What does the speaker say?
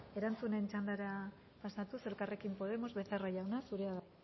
erantzunen txandara pasatuz elkarrekin podemos becerra jauna zurea da